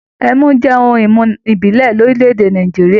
Ẹmu jẹ́ ohun-ìmu ìbílẹ̀ ní orílẹ̀-èdè Nàìjíríà.